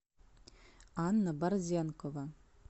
анна борзенкова